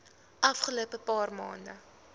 afgelope paar maande